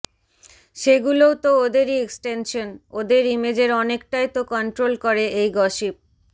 সেগুলোও তো ওদেরই এক্সটেনশন ওদের ইমেজের অনেকটাই তো কন্ট্রোল করে এই গসিপ